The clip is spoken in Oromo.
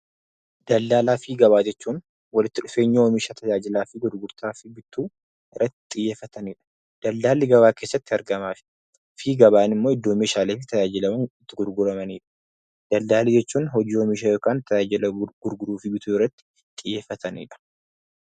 Daldalaa fi gabaa jechuun walitti dhufeenya oomisha tajaajilaa fi gurgurtaa bittuu irratti xiyyeeffatanidha. Daldalli gabaa keessatti argama fi gabaan iddoo itti Meeshaalee tajaajilaman fi itti gurguratanidha. Daldalli jechuun hojii oomisha yookiin tajaajila oomisha yookiin bituu fi gurguruu irratti xiyyeeffatanidha.